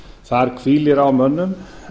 þar hvílir á mönnum